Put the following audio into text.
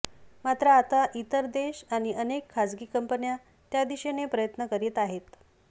मात्र आता इतर देश आणि अनेक खासगी कंपन्या त्या दिशेने प्रयत्न करत आहेत